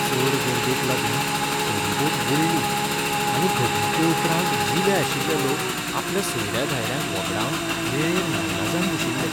चड गर्देक लागून फेरीबोट बुडली आनी घडणुके उपरांत जिवे आशिल्लें लोक आपल्या सोयऱ्या धायऱ्यांक व्हगडावन वेळेर नाइलाजान बशिल्लें.